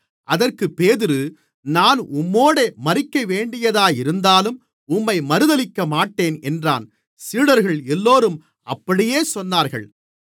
அதற்குப் பேதுரு நான் உம்மோடே மரிக்கவேண்டியதாயிருந்தாலும் உம்மை மறுதலிக்கமாட்டேன் என்றான் சீடர்கள் எல்லோரும் அப்படியே சொன்னார்கள்